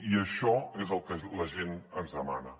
i això és el que la gent ens demana